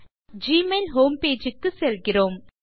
நாம் Gmail home page க்கு செல்கிறோம்